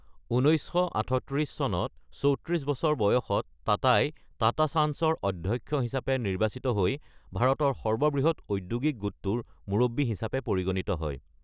১৯৩৮ চনত ৩৪ বছৰ বয়সত টাটাই টাটা চান্চৰ অধ্যক্ষ হিচাপে নিৰ্বাচিত হৈ ভাৰতৰ সৰ্ববৃহৎ ঔদ্যোগিক গোটটোৰ মুৰব্বী হিচাপে পৰিগণিত হয়।